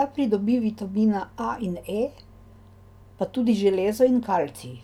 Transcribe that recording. da pridobi vitamina A in E, pa tudi železo in kalcij.